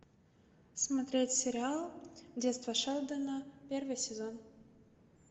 смотреть сериал детство шелдона первый сезон